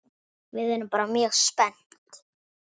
Við erum bæði mjög spennt.